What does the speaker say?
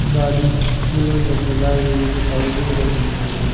गाड़ी फूलों से सजाई हुई दिखाई दे रही है।